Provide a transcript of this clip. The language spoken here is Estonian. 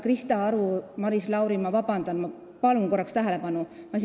Krista Aru ja Maris Lauri, ma palun vabandust ja korraks tähelepanu!